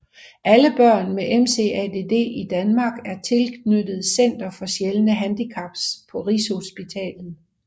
Alle børn med MCADD i Danmark er tilknyttet Center for sjældne handicaps på Rigshospitalet